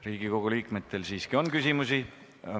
Riigikogu liikmetel on küsimusi.